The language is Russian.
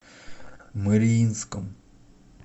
мариинском